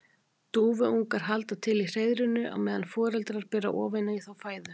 Dúfuungar halda til í hreiðrinu á meðan foreldrarnir bera ofan í þá fæðu.